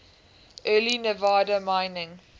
early nevada mining